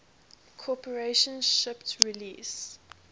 corporation shipped release